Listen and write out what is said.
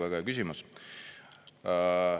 Väga hea küsimus.